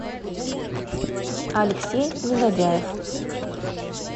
алексей негодяев